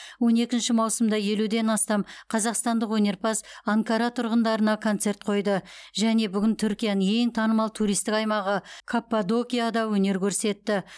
он екінші маусымда елуден астам қазақстандық өнерпаз анкара тұрғындарына концерт қойды және бүгін түркияның ең танымал туристік аймағы каппадокияда өнер көрсетті